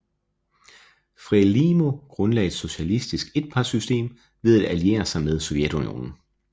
FRELIMO grundlagde et socialistisk etpartisystem ved at alliere sig med Sovjetunionen